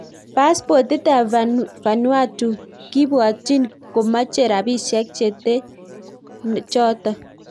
Paspotit ap Vanuatu kibwatchiin komache rapisiek chetee chotok